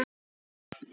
Hvar er Egill?